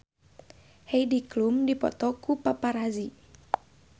Heidi Klum dipoto ku paparazi